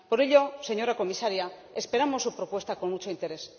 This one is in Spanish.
Por ello, señora comisaria, esperamos su propuesta con mucho interés.